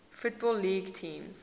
football league teams